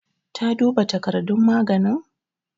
Ta duba takardar maganin?